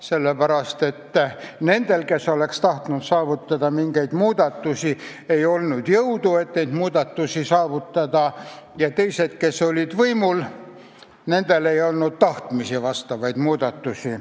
Sellepärast, et nendel, kes oleks tahtnud saavutada mingeid muudatusi, ei olnud jõudu neid saavutada, ja teistel, kes olid võimul, ei olnud tahtmist neid ellu viia.